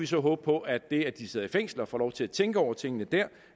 så håbe på at det at de sidder i fængsel og får lov til at tænke over tingene der